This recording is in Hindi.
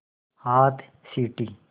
हाथ सीटी